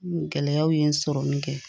Gɛlɛyaw ye sɔrɔ min kɛ